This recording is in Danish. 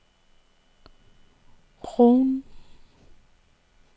Rouen